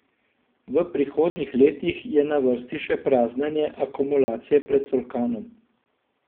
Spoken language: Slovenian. V prihodnjih letih je na vrsti še praznjenje akumulacije pred Solkanom.